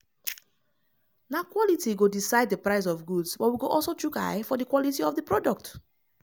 na quality go decide di price of goods but we go also chook eye for di quality of di product.